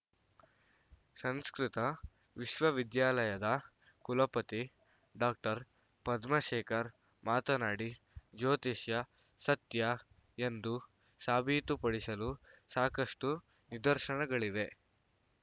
ಸಂಸ್ಕೃತ ವಿಶ್ವವಿದ್ಯಾಲಯದ ಕುಲಪತಿ ಡಾಕ್ಟರ್ ಪದ್ಮಾಶೇಖರ್‌ ಮಾತನಾಡಿ ಜ್ಯೋತಿಷ್ಯ ಸತ್ಯ ಎಂದು ಸಾಬೀತುಪಡಿಸಲು ಸಾಕಷ್ಟುನಿದರ್ಶನಗಳಿವೆ